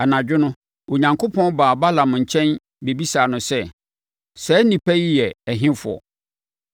Anadwo no, Onyankopɔn baa Balaam nkyɛn bɛbisaa no sɛ, “Saa nnipa yi yɛ ɛhefoɔ?”